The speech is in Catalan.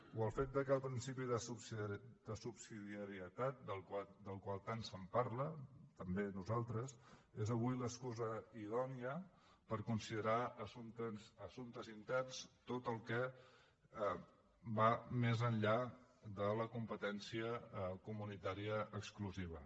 o el fet que el principi de subsidiarietat del qual tant se’n parla també nosaltres és avui l’excusa idònia per considerar assumptes interns tot el que va més enllà de la competència comunitària exclusiva